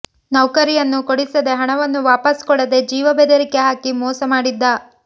ನೌಕರಿಯನ್ನು ಕೊಡಿಸದೇ ಹಣವನ್ನೂ ವಾಪಸ್ ಕೊಡದೇ ಜೀವ ಬೆದರಿಕೆ ಹಾಕಿ ಮೋಸ ಮಾಡಿದ್ದ